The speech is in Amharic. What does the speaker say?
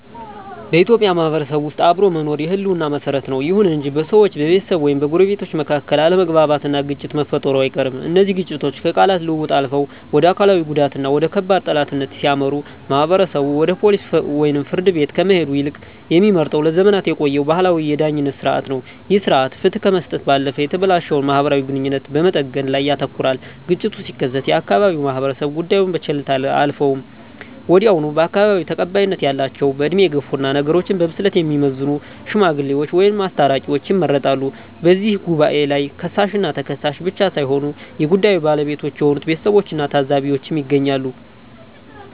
በኢትዮጵያ ማህበረሰብ ውስጥ አብሮ መኖር የህልውና መሰረት ነው። ይሁን እንጂ በሰዎች፣ በቤተሰብ ወይም በጎረቤቶች መካከል አለመግባባትና ግጭት መፈጠሩ አይቀርም። እነዚህ ግጭቶች ከቃላት ልውውጥ አልፈው ወደ አካላዊ ጉዳትና ወደ ከባድ ጠላትነት ሲያመሩ፣ ማህበረሰቡ ወደ ፖሊስ ወይም ፍርድ ቤት ከመሄድ ይልቅ የሚመርጠው ለዘመናት የቆየውን ባህላዊ የዳኝነት ሥርዓት ነው። ይህ ሥርዓት ፍትህ ከመስጠት ባለፈ የተበላሸውን ማህበራዊ ግንኙነት በመጠገን ላይ ያተኩራል። ግጭቱ ሲከሰት የአካባቢው ማህበረሰብ ጉዳዩን በቸልታ አያልፈውም። ወዲያውኑ በአካባቢው ተቀባይነት ያላቸው፣ በዕድሜ የገፉና ነገሮችን በብስለት የሚመዝኑ "ሽማግሌዎች" ወይም "አስታራቂዎች" ይመረጣሉ። በዚህ ጉባኤ ላይ ከሳሽና ተከሳሽ ብቻ ሳይሆኑ የጉዳዩ ባለቤቶች የሆኑት ቤተሰቦችና ታዘቢዎችም ይገኛሉ።